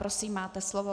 Prosím, máte slovo.